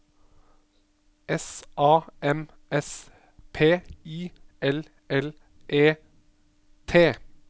S A M S P I L L E T